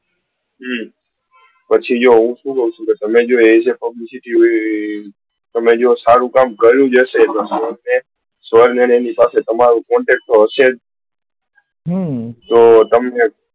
પછી જો તમે જ publicity માં સારું કામ કર્યું હશે તો સ્વર ને એમની પાસે તમારો contact તો હશે જ